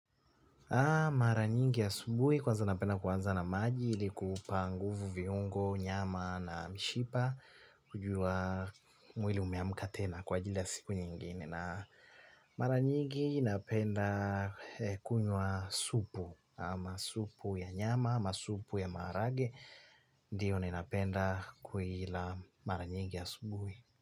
Mara nyingi asubuhi kwanza napenda kuanza na maji ili kuupa nguvu viungo nyama na mishipa wajua mwili umeamka tena kwa ajili ya siku nyingine na mara nyingi napenda kunywa supu ama supu ya nyama ama supu ya maharage ndiyo ninapenda kuila mara nyingi asubuhi.